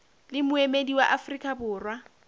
le moemedi wa afrika borwa